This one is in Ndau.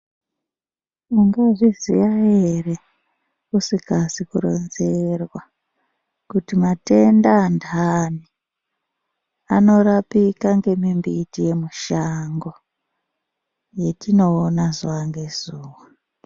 Mungazviziya ere musingazi kuronzerwa kuti matenda andani anorapika ngemimbiti yemushango yatinoona zuwa ngezuwa.